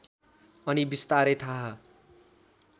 अनि विस्तारै थाहा